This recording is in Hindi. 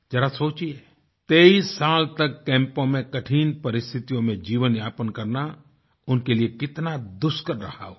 ज़रा सोचिए 23 साल तक कैम्पों में कठिन परिस्थितियों में जीवनयापन करना उनके लिए कितना दुष्कर रहा होगा